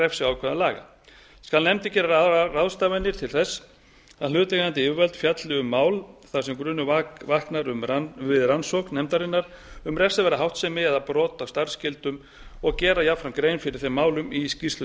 refsiákvæðum laga skal nefndin gera ráðstafanir til þess að hlutaðeigandi yfirvöld fjalli um mál þar sem grunur vaknar við rannsókn nefndarinnar um refsiverða háttsemi eða brot á starfsskyldum og gera jafnframt grein fyrir þeim málum í skýrslu